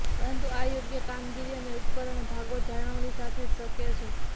પરંતુ આ યોગ્ય કામગીરી અને ઉપકરણ ભાગો જાળવણી સાથે જ શક્ય છે